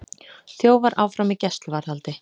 Þjófar áfram í gæsluvarðhaldi